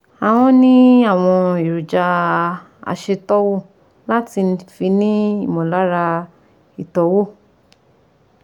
Ahọ́n ní àwọn èròjà aṣètọ́wò láti fi ní ìmọ̀lára ìtọ́wò